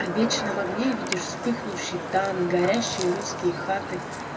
о вечном огне видишь вспыхнувший танк горящие русские хаты